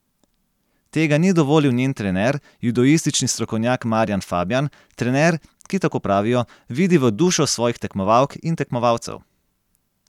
Tega ni dovolil njen trener, judoistični strokovnjak Marjan Fabjan, trener, ki, tako pravijo, vidi v dušo svojih tekmovalk in tekmovalcev.